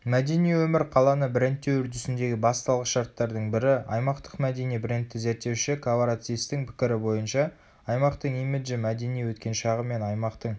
мәдени өмір қаланы брендтеу үрдісіндегі басты алғышарттардың бірі аймақтық мәдени брендті зерттеуші каваратцистің пікірі бойынша аймақтың имиджі мәдени өткен шағы мен аймақтың